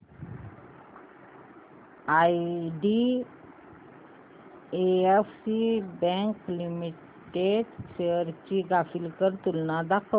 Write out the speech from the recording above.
IDFC bank limited shares ची graphical तुलना दाखव